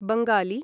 Bengali